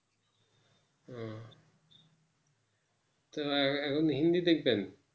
তো আর যখন হিন্দী দেখবেন